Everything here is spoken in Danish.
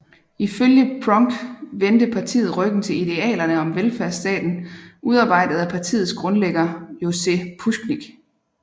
Ifølge Prunk vendte partiet ryggen til idealerne om velfærdsstaten udarbejdet af partiets grundlægger Jože Pucnik